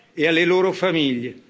sera e alle loro famiglie.